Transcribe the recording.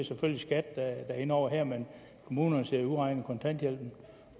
selvfølgelig skat der er inde over her men kommunerne sidder jo og udregner kontanthjælpen